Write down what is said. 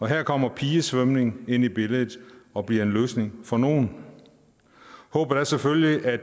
her kommer pigesvømning ind i billedet og bliver en løsning for nogle håbet er selvfølgelig at